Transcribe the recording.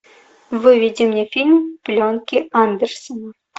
выведи мне фильм пленки андерсона